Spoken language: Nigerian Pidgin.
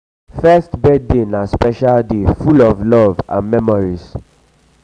first birthday na special day full of love and memories.